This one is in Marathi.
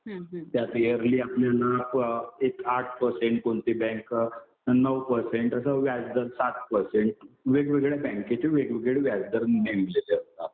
त्यात इयरलि आपल्याला एक आठ परसेंट कोणती बँक नऊ परसेंट, असं व्याजदर सात परसेंट. वेगवेगळ्या बँकेचे वेगवेगळे व्याजदर नेमलेले असतात.